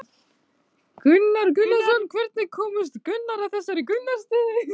Þorbjörn Þórðarson: Hvenær komust þið að þessari niðurstöðu?